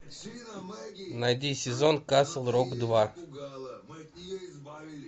найди сезон касл рок два